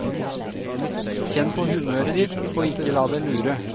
Kjenn på humøret ditt, og ikke la deg lure.